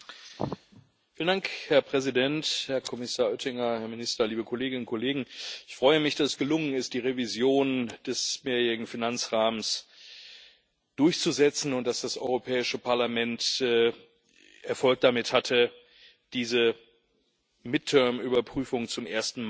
Herr Präsident, Herr Kommissar Oettinger, Herr Minister, liebe Kolleginnen und Kollegen! Ich freue mich, dass es gelungen ist, die Revision des mehrjährigen Finanzrahmens durchzusetzen, und dass das Europäische Parlament Erfolg damit hatte, diese Halbzeitüberprüfung zum ersten Mal zu erreichen.